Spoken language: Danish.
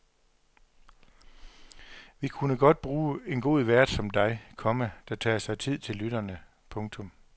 Vi kunne godt bruge en god vært som dig, komma der tager sig tid til lytterne. punktum